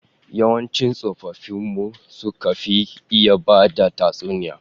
Yawancin tsofaffin mu su suka fi iya bada tatsuniya